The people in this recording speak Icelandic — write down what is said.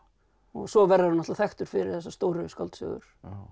svo verður hann náttúrulega þekktur fyrir þessar stóru skáldsögur